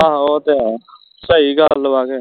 ਆਹੋ ਉਹ ਤੇ ਹੈ ਸਹੀ ਗੱਲ ਵਾ ਕੇ